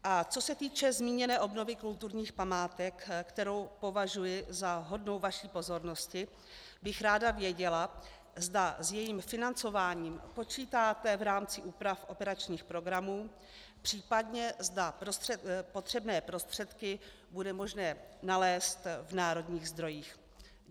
A co se týče zmíněné obnovy kulturních památek, kterou považuji za hodnou vaší pozornosti, bych ráda věděla, zda s jejím financováním počítáte v rámci úprav operačních programů, případně zda potřebné prostředky bude možné nalézt v národních zdrojích.